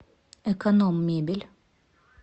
эконом мебель